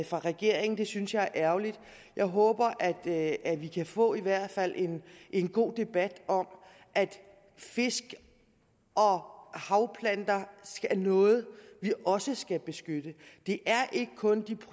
fra regeringen det synes jeg er ærgerligt jeg håber at at vi kan få i hvert fald en en god debat om at fisk og havplanter er noget vi også skal beskytte det er ikke kun de